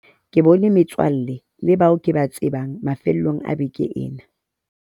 ke bone metswalle le bao ke ba tsebang mafelong a beke ena